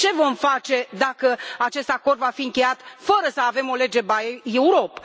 Ce vom face dacă acest acord va fi încheiat fără să avem o lege buy Europe